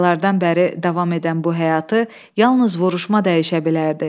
Aylardan bəri davam edən bu həyatı yalnız vuruşma dəyişə bilərdi.